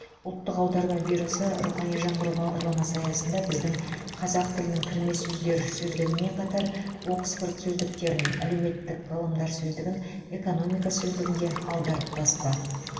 ұлттық аударма бюросы рухани жаңғыру бағдарламасы аясында біздің қазақ тілінің кірме сөздер сөздігімен қатар оксфорд сөздіктерін әлеуметтік ғылымдар сөздігін экономика сөздігін де аударып басты